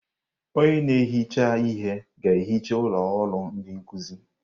Onye na-ehicha ihe ga-ehicha ụlọ ọrụ ndi nkuzi.